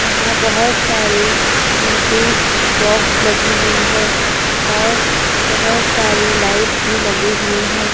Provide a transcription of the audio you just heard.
यहां बहोत सारे डीजे बॉक्स लगी हुई है और बहोत सारे लाइट्स भी लगे हुए हैं।